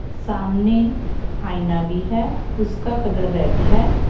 सामने आईना भी है उसका कलर रेड है।